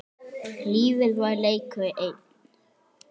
Lífið var leikur einn.